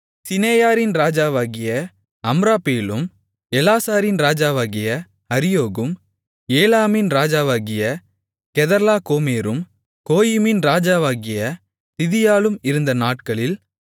சிநெயாரின் ராஜாவாகிய அம்ராப்பேலும் ஏலாசாரின் ராஜாவாகிய அரியோகும் ஏலாமின் ராஜாவாகிய கெதர்லா கோமேரும் கோயிமின் ராஜாவாகிய திதியாலும் இருந்த நாட்களில்